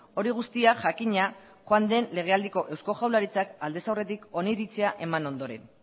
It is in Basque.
hori guztia jakina joan den lege aldiko eusko jaurlaritzak aldez aurretik oniritzia eman ondoren